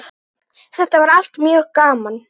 Þetta var allt mjög gaman.